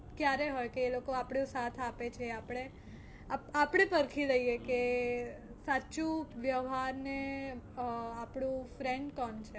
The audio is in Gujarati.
ક્યારે હોય કે એ લોકો આપણો સાથ આપે છે આપણે આપણે પરખી લઈએ કે સાચું વ્યવહાર ને અ આપણું friend કોણ.